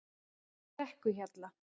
Brekkuhjalla